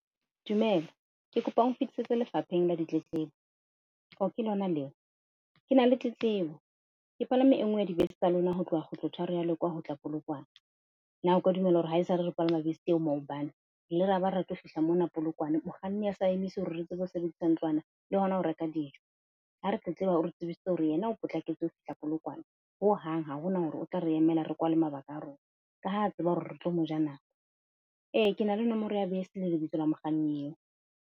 Dumela, ke kopa o nfetisetse Lefapheng la Ditletlebo, o ke lona leo? Ke na le tletlebo. Ke palame e nngwe ya dibese tsa lona, ho tloha kgutlo tharo ya Lekwa ho tla Polokwane. Na o ka dumela hore haesale re palama bese eo, maobane re ile ra ba re tlo fihla mona Polokwane, mokganni a sa emise hore re tsebe hore sebedisang ntlwana le hona ho reka dijo? Ha re tletleba, o re tsebisitse hore yena o potlaketse ho fihla Polokwane hohang ha hona hore o tla re emela re kwale mabaka a rona, ka ha a tseba hore re tlo mo ja nako. E ke na le nomoro ya bese le lebitso la mokganni eo.